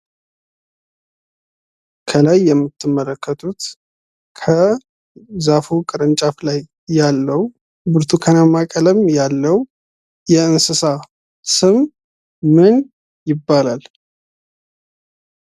ከላይ የምትመለከቱት ከዛፉ ቅርንጫፍ ላይ ያለው ብርቱካናማ ቀለም ያለው የእንስሳ ስም ምን ይባላል?